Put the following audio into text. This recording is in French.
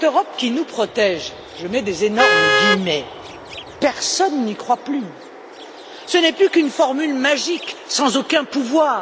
Mais cette Europe qui nous protège je mets d'énormes guillemets personne n'y croit plus, ce n'est plus qu'une formule magique, sans aucun pouvoir.